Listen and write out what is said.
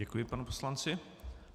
Děkuji panu poslanci.